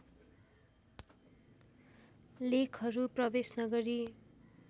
लेखहरू प्रवेश नगरी